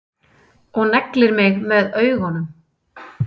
Og neglir mig með augunum.